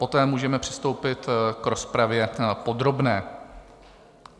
Poté můžeme přistoupit k rozpravě podrobné.